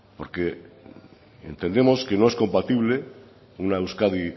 porque entendemos que no es compatible una euskadi